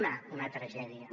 una una tragèdia